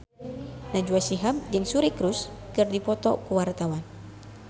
Najwa Shihab jeung Suri Cruise keur dipoto ku wartawan